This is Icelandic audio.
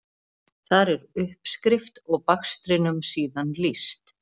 Þar er uppskrift og bakstrinum síðan lýst.